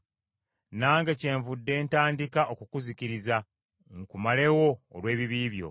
Nange kyenvudde ntandika okukuzikiriza, nkumalewo olw’ebibi byo.